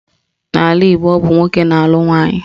N'ala Igbo, ọ bụ nwoke na-alụ nwaanyị.